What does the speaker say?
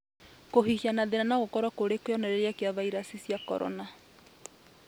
Kũhihia na thĩna nogũkorwo arĩ kĩonereria gĩa viraci cia Korona